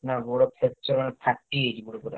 ନା ଗୋଡ fracture ମାନେ ଫା ଟି ଯାଇଛି ଗୋଡ ପୁରା।